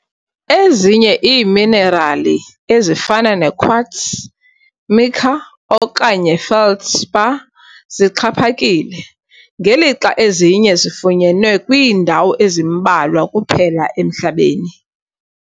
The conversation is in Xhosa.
Ezinye iiminerali, ezifana nequartz, mica okanye feldspar zixhaphakile, ngelixa ezinye zifunyenwe kwiindawo ezimbalwa kuphela emhlabeni.